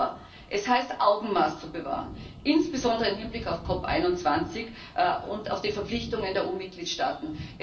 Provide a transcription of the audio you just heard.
Aber es heißt, Augenmaß zu bewahren, insbesondere im Hinblick auf die COP 21 und auf die Verpflichtungen der EU Mitgliedstaaten.